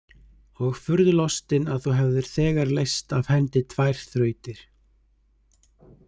Og furðu lostin að þú hefðir þegar leyst af hendi tvær þrautir.